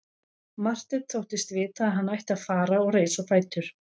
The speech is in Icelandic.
Marteinn þóttist vita að hann ætti að fara og reis á fætur.